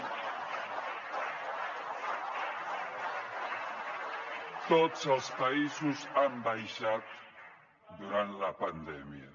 tots els països han baixat durant la pandèmia